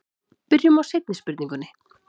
Byrjum á seinni spurningunni.